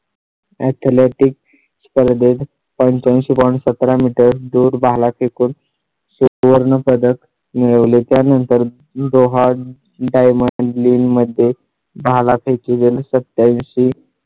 त्याला ती per day पंच्याऐंशी point सतरा मीटर दूर भाला फेकून सुवर्ण पदक मिळवले. त्यानंतर दोहा diamond league मध्ये झाला. त्या ची वेळ सत्यांशी